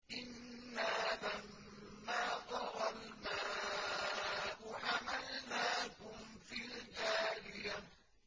إِنَّا لَمَّا طَغَى الْمَاءُ حَمَلْنَاكُمْ فِي الْجَارِيَةِ